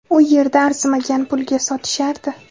U yerda arzimagan pulga sotishardi.